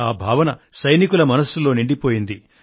ఈ భావన సైనికుల మనసుల్లో నిండిపోయింది